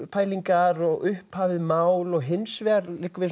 pælingar og upphafið mál og hins vegar liggur við